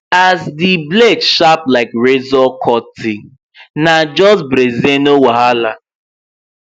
as di blade sharp like razor cutting na just breezeno wahala